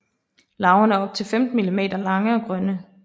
Larverne er op til 15 mm lange og grønne